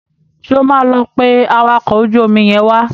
Ṣé o máa lọ pé awakọ̀ ojú omi yẹn wá?